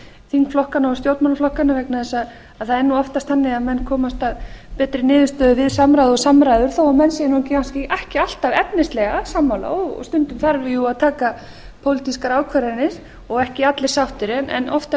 þingflokkana og stjórnmálaflokkana vegna þess að það er nú oftast þannig að menn komast að betri niðurstöðu við samráð og samræður þó menn séu ekki alltaf efnislega sammála stundum þarf jú að taka pólitískar ákvarðanir og ekki allir sáttir en oftast